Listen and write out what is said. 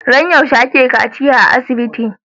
Ran yaushe ake kaciya a asibiti